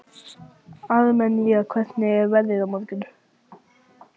Armenía, hvernig er veðrið á morgun?